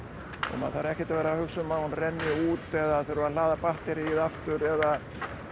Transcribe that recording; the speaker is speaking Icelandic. og maður þarf ekkert að vera hugsa um að hún renni út eða þurfi að hlaða batterýið aftur eða